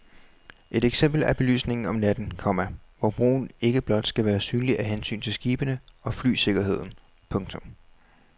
Et eksempel er belysningen om natten, komma hvor broen ikke blot skal være synlig af hensyn til skibene og flysikkerheden. punktum